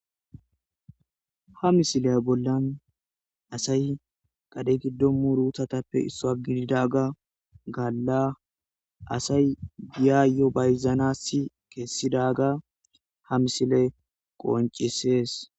Ha misiley bollan asay qadhe giddo muruutatappe issoa gididaga galla asay yaayyo bayzanassi keessidaga ha misile qoncisees